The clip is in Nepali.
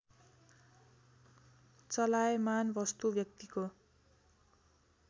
चलायमान वस्तु व्यक्तिको